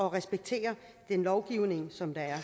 at respektere den lovgivning som der er